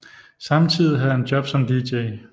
Samtidig havde han jobs som dj